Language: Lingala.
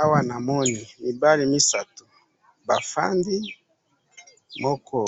Awa namoni mibali misatu bafandi ,moko